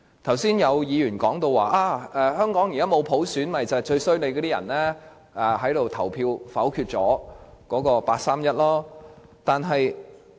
剛才有議員說，香港現在沒有普選是由於我們這些人投票否決八三一方案。